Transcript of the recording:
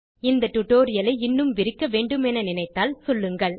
இந்த டியூட்டோரியல் ஐ இன்னும் விரிக்க வேன்டுமென நினைத்தால் சொல்லுங்கள்